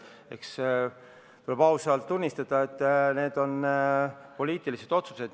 Eks tuleb ausalt tunnistada, et need on poliitilised otsused.